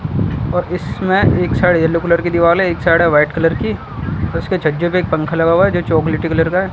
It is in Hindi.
और इसमें एक साइड येलो कलर की दीवाल है एक साइड है वाइट कलर की और उसके छज्जे पे एक पंका लगा हुआ है जो चॉकलेटी कलर का है।